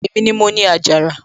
èmi ni mo ni àjàrà